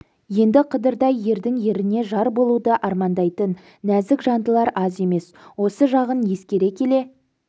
енді қыдырдай ердің еріне жар болуды армандайтын назік жандылар аз емес осы жағын ескере келе